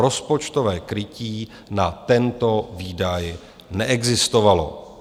Rozpočtové krytí na tento výdaj neexistovalo.